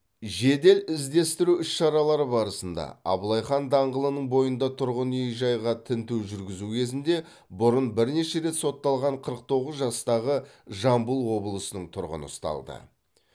жедел іздестіру іс шаралары барысында абылай хан даңғылының бойында тұрғын үй жайға тінту жүргізу кезінде бұрын бірнеше рет сотталған қырық тоғыз жастағы жамбыл облысының тұрғыны ұсталды